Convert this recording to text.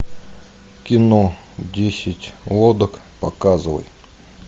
кино десять лодок показывай